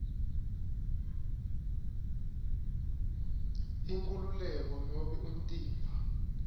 inkhululeko nobe umtimba